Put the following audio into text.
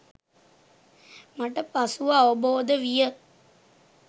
මට පසුව අවබෝද විය.